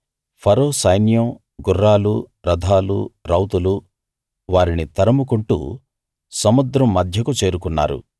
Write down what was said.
ఫరో సైన్యం గుర్రాలు రథాలు రౌతులు వారిని తరుముకుంటూ సముద్రం మధ్యకు చేరుకున్నారు